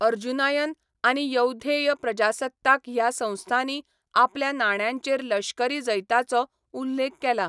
अर्जुनायन आनी यौधेय प्रजासत्ताक ह्या संस्थांनी आपल्या नाण्यांचेर लश्करी जैतांचो उल्लेख केला.